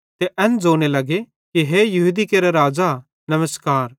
ते एन ज़ोने लग्गे कि हे यहूदी केरा राज़ा नमस्कार